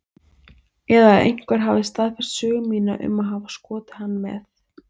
Eða að einhver hefði staðfest sögu mína um að hafa skotið hann með